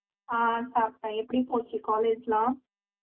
ஆஹ் சாப்பிட்டேன் எப்படி போச்சு college எல்லாம்